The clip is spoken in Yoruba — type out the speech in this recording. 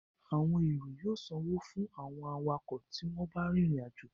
Àwọn èrò yóò sanwó fún àwọn awakọ̀ tí wọ́n bá ń rìnrìn àjò